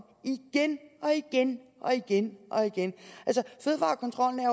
igen og igen og igen og igen fødevarekontrollen